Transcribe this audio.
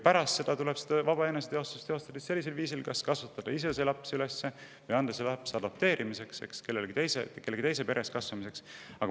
Pärast lapse eostamist tuleb vaba eneseteostust teostada sellisel viisil, et kas kasvatada see laps ise üles või anda ta adopteerimiseks, lasta tal kasvada kellegi teise peres.